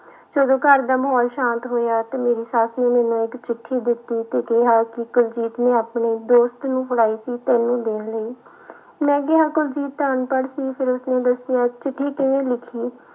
ਜਦੋਂ ਘਰਦਾ ਮਾਹੌਲ ਸ਼ਾਂਤ ਹੋਇਆ ਤੇ ਮੇਰੀ ਸੱਸ ਨੇ ਮੈਨੂੰ ਇੱਕ ਚਿੱਠੀ ਦਿੱਤੀ ਤੇ ਕਿਹਾ ਕਿ ਕੁਲਜੀਤ ਨੇ ਆਪਣੇ ਦੋਸਤ ਨੂੰ ਫੜਾਈ ਸੀ ਤੈਨੂੰ ਦੇਣ ਲਈ ਮੈਂ ਕਿਹਾ ਕੁਲਜੀਤ ਤਾਂ ਅਨਪੜ੍ਹ ਸੀ ਫਿਰ ਉਸਨੇ ਦੱਸਿਆ ਚਿੱਠੀ ਕਿਵੇਂ ਲਿਖੀ।